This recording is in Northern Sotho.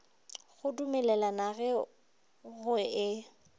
go dumelelana ge go e